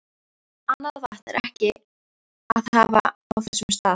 Annað vatn er ekki að hafa á þessum stað.